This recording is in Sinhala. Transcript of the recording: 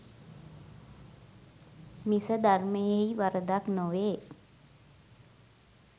මිස ධර්මයෙහි වරදක් නොවේ.